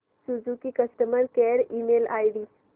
Suzuki customer care email ID